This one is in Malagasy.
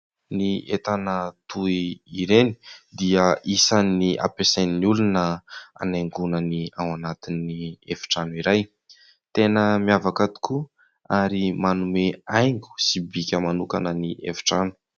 Ny entana toy ireny dia isan'ny ampiasain'ny olona hanaingona ny ao anatin'ny efitrano iray. Tena miavaka tokoa ary manome haingo sy bika manokana ny efitrano.